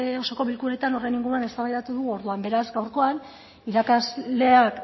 oso bilkuretan horren inguruan eztabaidatu dugu orduan beraz gaurkoak irakasleak